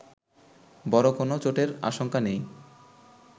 বড় কোনো চোটের আশঙ্কা নেই